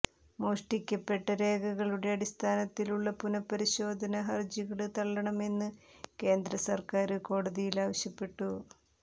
മോഷ്ടിക്കപ്പെട്ട രേഖകളുടെ അടിസ്ഥാനത്തിലുള്ള പുനപരിശോധന ഹര്ജികള് തള്ളണമെന്ന് കേന്ദ്ര സര്ക്കാര് കോടതിയില് ആവശ്യപ്പെട്ടു